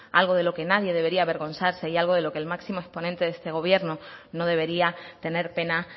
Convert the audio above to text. algo de lo que nadie debería avergonzarse y algo de lo que el máximo exponente de este gobierno no debería tener pena